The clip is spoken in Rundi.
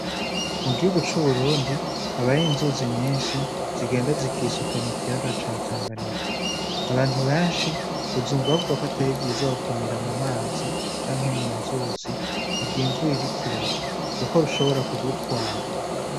Mu gihugu c’uburundi habayo inzuzi nyinshi zigenda zikisuka mu kiyaga ca Tanganyika. Abantu banshi uzumva bavuga ko atari vyiza gukinira mu mazi canke mu nzuzi mu gihe imvura iriko irarwa, kuko rushobora kugutwara.